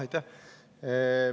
Aitäh!